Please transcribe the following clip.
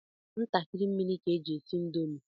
Ntakịrị mmiri ka eji esi indomi.